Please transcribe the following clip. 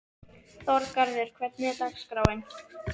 Þorgarður, hvernig er dagskráin?